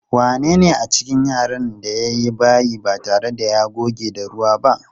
Wanene a cikin yaran da ya yi bayi ba tare da ya goge da ruwa ba?